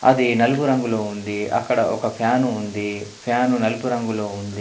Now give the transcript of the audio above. అది నలుపు రంగులో ఉంది. అక్కడ ఒక ఫ్యాను ఉంది. ఫ్యాను నలుపు రంగులో ఉంది.